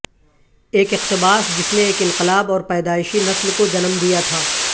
ایک اقتباس جس نے ایک انقلاب اور پیدائشی نسل کو جنم دیا تھا